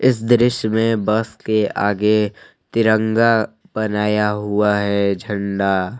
इस दृश्य में बस के आगे तिरंगा बनाया हुआ है झण्डा --